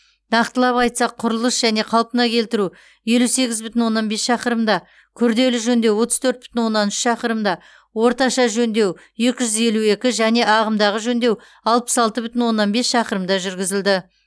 нақтылап айтсақ құрылыс және қалпына келтіру елу сегіз бүтін оннан бес шақырымда күрделі жөндеу отыз төрт бүтін оннан үш шақырымда орташа жөндеу екі жүз елу екі және ағымдағы жөндеу алпыс алты бүтін оннан бес шақырымда жүргізілді